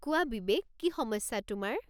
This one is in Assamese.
কোৱা বিবেক, কি সমস্যা তোমাৰ?